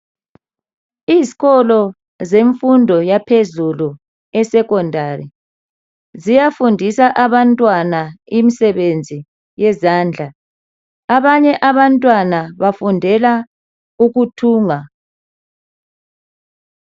Izikolo zemfundo yaphezulu eSekhondari ziyafundisa abantwana imisebenzi yezandla. Abanye abantwana bafundela ukuthunga.